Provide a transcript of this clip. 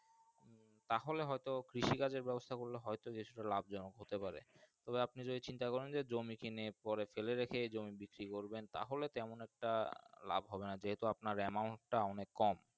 তাহলে হয় তো কৃষি কাজের ব্যাবস্তা করলে হয়ত বাসি তা লাভ জনক হতে পারে তবে আপনি যদি চিন্তা করেন যে জমি কিনে পরে ফেলে রাখে জমি বিজরী করবেন তাহলে তেমন একটা লাভ হবে না যেহেতু আপনার Amount টা অনেক কম।